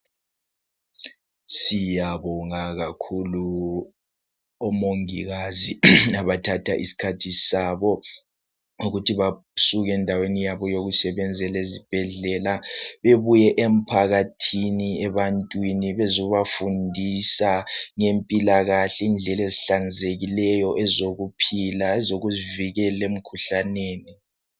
Siyabonga kakhulu omongikazi abathatha isikhathi sabo ngokuthi basuke endaweni zabo zokusebenzela ezibhedlela bebuye emphakathini ebantwini bezobafundisa ngempilakahle indlela ezihlanzekileyo ezokuphila ezokuzi vikela emkhuhlaneni